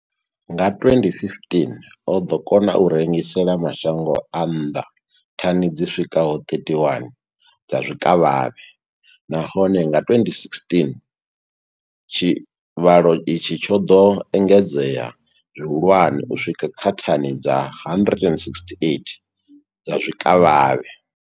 Nga 2015, o ḓo kona u rengisela mashango a nnḓa thani dzi swikaho 31 dza zwikavhavhe, nahone nga 2016 tshivhalo itshi tsho ḓo engedzea zwihulwane u swika kha thani dza 168 dza zwikavhavhe.